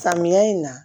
Samiya in na